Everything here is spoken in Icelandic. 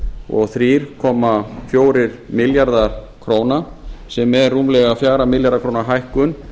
og þrjú komma fjórir milljarðar króna sem er rúmlega fjögurra milljarða króna hækkun